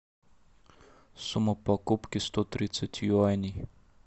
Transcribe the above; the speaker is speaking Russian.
сумма покупки сто тридцать юаней